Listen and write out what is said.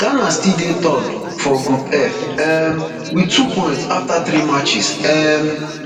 ghana still dey third for group f um with two points afta three matches um